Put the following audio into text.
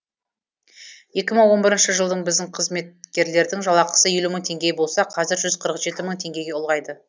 екі мың он бірінші жылы біздің қызметкерлердің жалақысы елу мың теңге болса қазір жүз қырық жеті мың теңгеге ұлғайды